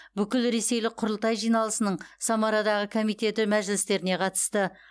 бүкілресейлік құрылтай жиналысының самарадағы комитеті мәжілістеріне қатысты